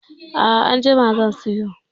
A'a anjima zan siyo.